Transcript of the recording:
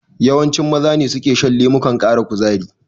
Yawanci Maza ne suka shan lemukan ƙara kuzari.